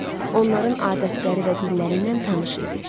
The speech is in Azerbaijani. Onların adətləri və dilləri ilə tanış idi.